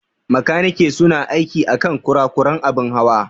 Makaniki su na aiki akan kurakuran abin Hawa.